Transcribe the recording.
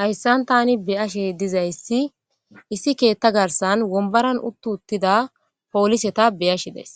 hayssan tani beyashe dizayssi issi keetta garsan wombaran uttu uttida pooliseta beyashi dees